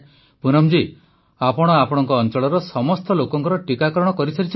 ପ୍ରଧାନମନ୍ତ୍ରୀ ପୁନମ ଜୀ ଆପଣ ଆପଣଙ୍କ ଅଂଚଳର ସମସ୍ତ ଲୋକଙ୍କ ଟୀକାକରଣ କରିସାରିଛନ୍ତି କି